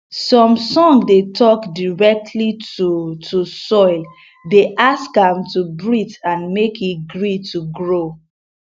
some song dey talk directly to to soil dey ask am to breathe and make e gree to grow